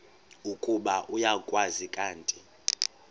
ukuba uyakwazi kanti